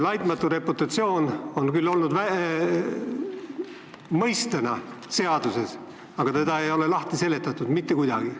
"Laitmatu reputatsioon" on küll olnud mõistena seaduses sees, aga seda ei ole mitte kuidagi lahti seletatud.